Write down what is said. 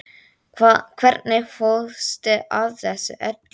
Hvernig fórstu að þessu öllu?